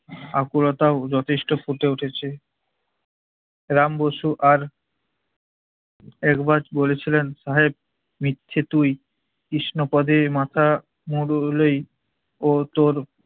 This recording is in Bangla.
আকুলতাও যথেষ্ট ফুটে উঠেছে । রাম বসু আর একবার বলেছিলেন সাহেব মিথ্যে তুই কৃষ্ণপদে মাথা মুরুলেই ও তোর